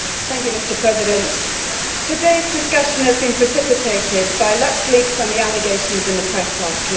Mr President, todayʼs discussion has been precipitated by LuxLeaks and the allegations in the press last week.